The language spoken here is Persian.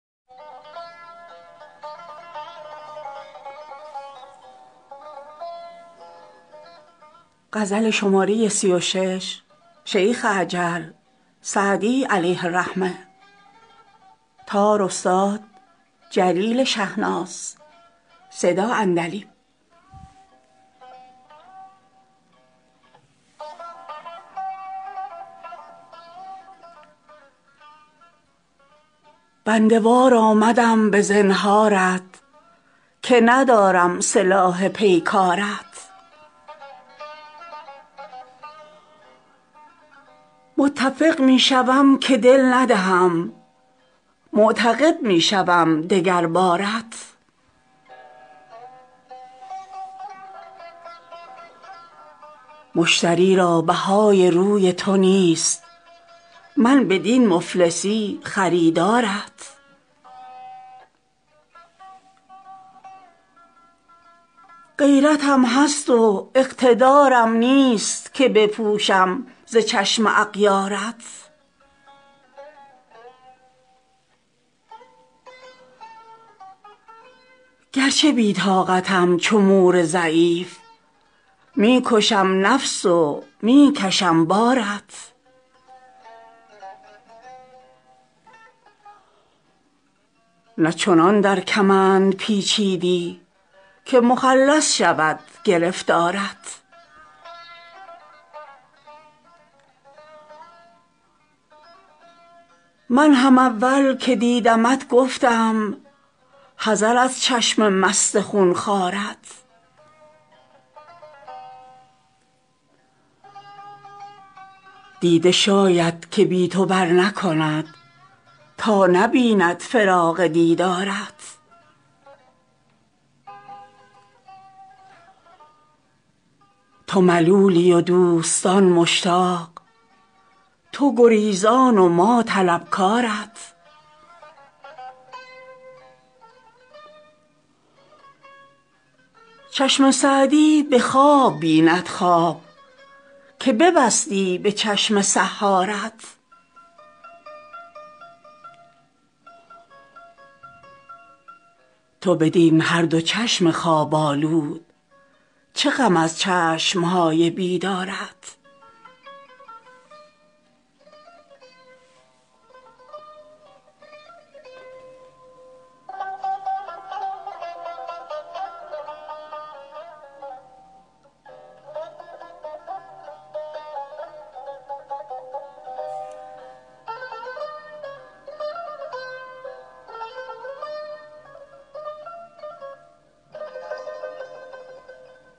بنده وار آمدم به زنهارت که ندارم سلاح پیکارت متفق می شوم که دل ندهم معتقد می شوم دگر بارت مشتری را بهای روی تو نیست من بدین مفلسی خریدارت غیرتم هست و اقتدارم نیست که بپوشم ز چشم اغیارت گرچه بی طاقتم چو مور ضعیف می کشم نفس و می کشم بارت نه چنان در کمند پیچیدی که مخلص شود گرفتارت من هم اول که دیدمت گفتم حذر از چشم مست خون خوارت دیده شاید که بی تو برنکند تا نبیند فراق دیدارت تو ملولی و دوستان مشتاق تو گریزان و ما طلبکارت چشم سعدی به خواب بیند خواب که ببستی به چشم سحارت تو بدین هر دو چشم خواب آلود چه غم از چشم های بیدارت